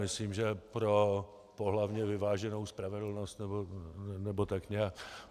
Myslím že pro pohlavně vyváženou spravedlnost nebo tak nějak.